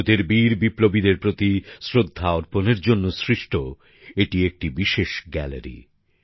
ভারতের বীর বিপ্লবীদের প্রতি শ্রদ্ধা অর্পণের জন্য সৃষ্ট এটি একটি বিশেষ গ্যালারি